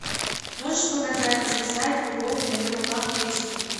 можешь показать написать любовь на ее руках эйч ди